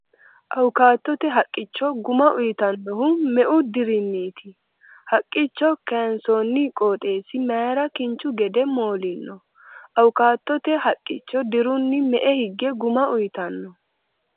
Awukaatote haqqicho guma uyitannohu me'u dirinniiti ? Haqqicho kayinsoonni qoxeessi mayra kinchu gede moolino ? Awukaatote haqicho dirunni me'e higge guma uytanno ?